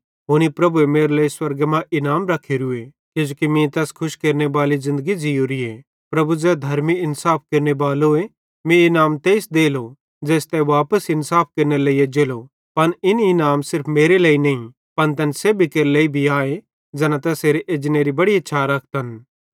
हुनी प्रभुएरे मेरे लेइ स्वर्गे मां इनाम रखेरू किजोकि मीं तैस खुश केरनेबाली ज़िन्दगी ज़ीयोरीए प्रभु ज़ै धर्मी इन्साफ केरनेबालोए मीं इन इनाम तेइस देलो ज़ेइस तै वापस इन्साफ केरनेरे लेइ एज्जेलो पन इन इनाम सिर्फ मेरे लेइ नईं पन तैन सेब्भी केरे लेइ भी आए ज़ैना तैसेरे एजनेरी बड़ी इच्छा रखतन